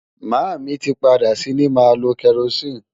Màámi tí padà sí ní máa lo kerosene.